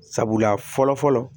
Sabula fɔlɔ fɔlɔ